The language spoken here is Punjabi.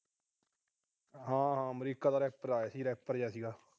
ਹਾਂ ਅਮਰੀਕਾ ਤੋਂ ਰੈਪਰ ਆਇਆ ਸੀ, ਰੈਪਰ ਜਾ ਸੀਗਾ।